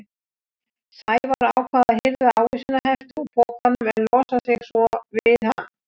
Sævar ákvað að hirða ávísanahefti úr pokanum en losa sig svo við hann.